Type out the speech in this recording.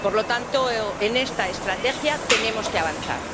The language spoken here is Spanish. Por lo tanto, en esta estrategia tenemos que avanzar.